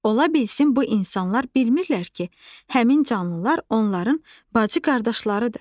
Onlar bilsin, bu insanlar bilmirlər ki, həmin canlılar onların bacı-qardaşlarıdır.